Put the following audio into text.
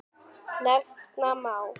Nefna má